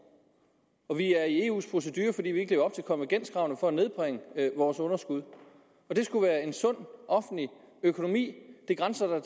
og vi er i eus procedure fordi vi ikke lever op til konvergenskravene for at nedbringe vores underskud og det skulle være en sund offentlig økonomi det grænser